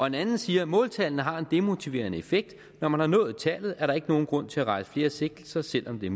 en anden siger måltallene har en demotiverende effekt når man har nået tallet er der ikke nogen grund til at rejse flere sigtelser selv om det